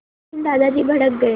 लेकिन दादाजी भड़क गए